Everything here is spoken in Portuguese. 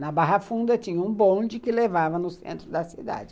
Na Barra Funda tinha um bonde que levava no centro da cidade.